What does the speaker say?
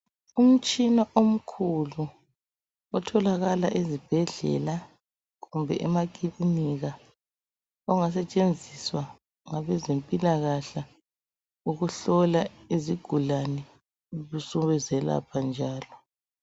Umtshina omkhulu otholakala ezibhedlela kumbe emakilinika ongasetshenziswa ngabezempilakahle ukuhlola izigulane besebezelapha njalo.